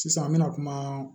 Sisan an mɛna kuma